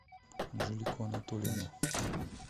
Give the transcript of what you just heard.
анжелику анатольевну